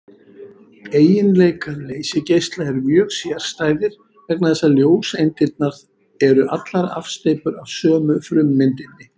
Eiginleikar leysigeisla eru mjög sérstæðir vegna þess að ljóseindirnar eru allar afsteypur af sömu frummyndinni.